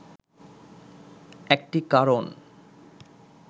একটি কারণ